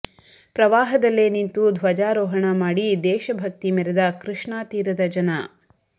ಪ್ರವಾಹದಲ್ಲೆ ನಿಂತು ಧ್ವಜಾರೋಹಣ ಮಾಡಿ ದೇಶ ಭಕ್ತಿ ಮೇರೆದ ಕೃಷ್ಣಾ ತೀರದ ಜನ